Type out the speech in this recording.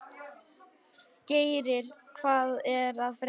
Geiri, hvað er að frétta?